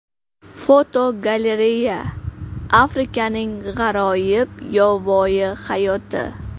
Fotogalereya: Afrikaning g‘aroyib yovvoyi hayoti.